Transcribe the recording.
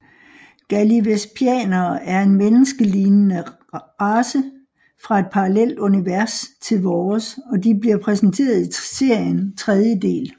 Gallivespianere er en menneskelignende race fra et parallelt univers til vores og de bliver præsenteret i serien tredje del